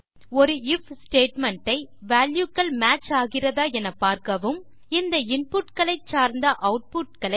ஒரு IF statement ஐ value கள் மேட்ச் ஆகிறதா என பார்க்கவும் இந்த இன்புட் களை சார்ந்த ஆட்புட் களை